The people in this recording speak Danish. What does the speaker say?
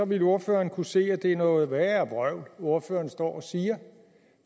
ville ordføreren kunne se at det er noget værre vrøvl ordføreren står og siger